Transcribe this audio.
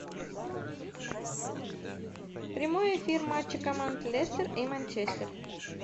прямой эфир матча команд лестер и манчестер